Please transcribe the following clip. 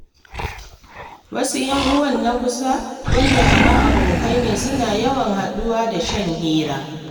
Wasu ‘yan uwa na kusa wadanda kamar abokai ne suna yawan haɗuwa don shan hira.